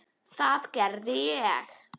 Það gerði ég.